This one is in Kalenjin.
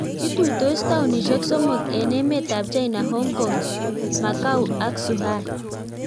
Ituitos taonishek somok eng emet ab China-Hong Kong, Macau ak Zhuhai.